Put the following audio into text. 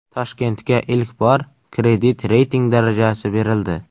Toshkentga ilk bor kredit reyting darajasi berildi.